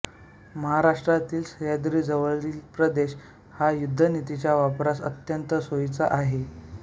महाराष्ट्रातील सह्याद्रीजवळील प्रदेश ह्या युद्धनीतीच्या वापरास अत्यंत सोयीचा आहे